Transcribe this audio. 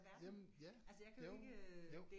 Jamen ja jo jo